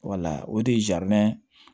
o de ye